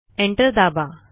enter दाबा